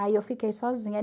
Aí eu fiquei sozinha.